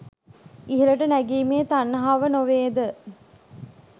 ඉහළට නැගීමේ තණ්හාව නොවේද?